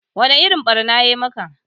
Wa ni irin ɓarna ya maka?